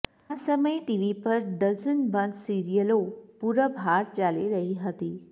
આ સમયે ટીવી પર ડઝનબંધ સિરિયલો પૂરબહાર ચાલી રહી હતી